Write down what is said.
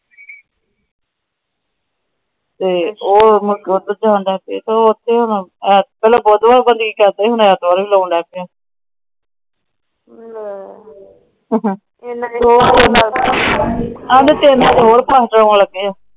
ਪਹਿਲੇ ਗੁਰਦਵਾਰੇ ਕਲੀ ਕਰਦਾ ਸੀ। ਹੁਣ ਰੇਹੜੀ ਲਾਣ ਲੱਗ ਪਿਆ।